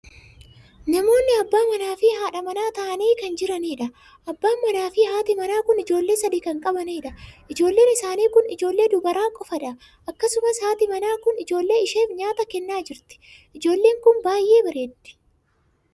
Namoonni abbaa manaa fi haadha manaa ta'anii kan jiranidha. abbaa manaa fi haati manaa kun ijoollee sadii kan qabaniidha. ijoolleen isaanii kun ijoollee dubaraa qofaadha. akkasumas haati manaa kun ijoollee isheef nyaata kennaa jirti. ijoolleen kun baay'ee bareeddi!